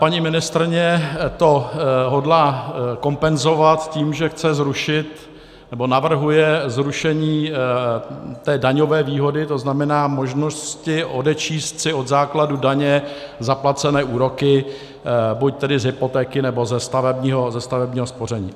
Paní ministryně to hodlá kompenzovat tím, že chce zrušit, nebo navrhuje zrušení té daňové výhody, to znamená možnosti odečíst si od základu daně zaplacené úroky, buď tedy z hypotéky, nebo ze stavebního spoření.